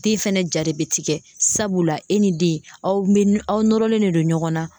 Den fɛnɛ ja de bɛ tigɛ sabula e ni den aw bɛ aw nɔrɔlen de don ɲɔgɔn na.